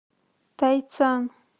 тайцан